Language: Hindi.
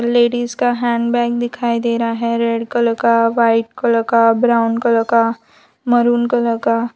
लेडीज का हैंडबैग दिखाई दे रहा है रेड कलर का वाइट कलर का ब्राउन कलर का मैरून कलर का --